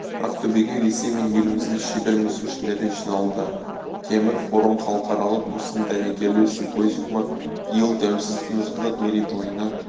ақтөбеге ресей мен еліміздің шебер мүсіншілері жиналды темір-форум халықаралық мүсін дәнекерлеу симпозиумы биыл тәуелсіздіктің жылдық мерейтойына